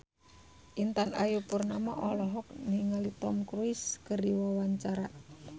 Intan Ayu Purnama olohok ningali Tom Cruise keur diwawancara